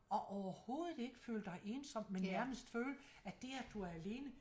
Og overhovedet ikke føle dig ensom men nærmest føle at det at du er alene